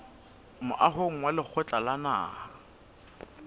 moahong wa lekgotla la naha